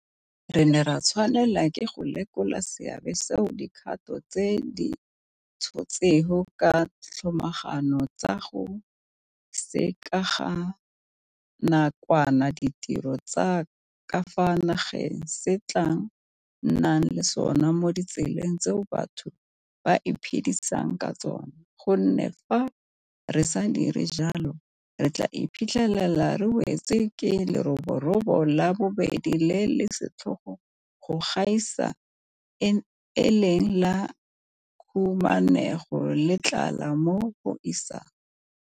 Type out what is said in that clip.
Re ne ra tshwanela ke go lekola seabe seo dikgato tse re di tshotseng ka tlhomagano tsa go sekeganakwana ditiro tsa ka fa nageng se tla nnang le sona mo ditseleng tseo batho ba iphedisang ka tsona, gonne fa re sa dire jalo re tla iphitlhela re wetswe ke leroborobo la bobedi le le setlhogo go gaisa e leng la khumanego le tlala mo isagong.